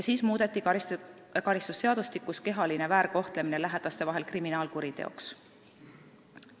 Siis muudeti karistusseadustikus kehaline väärkohtlemine lähedaste vahel kriminaalkuriteoks.